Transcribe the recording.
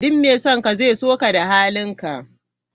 Duk mai son ka zai so ka da halinka.